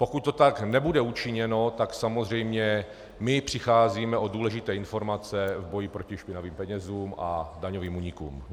Pokud to tak nebude učiněno, tak samozřejmě my přicházíme o důležité informace v boji proti špinavým penězům a daňovým únikům.